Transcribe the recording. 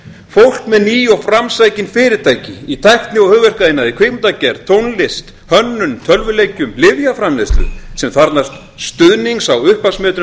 fólk með ný og framsækin fyrirtæki í tækni og hugverkaiðnaði kvikmyndagerð tónlist hönnun tölvuleikjum lyfjaframleiðslu sem þarfnast stuðnings á upphafsmetrum